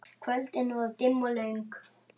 Kvöldin voru dimm og löng.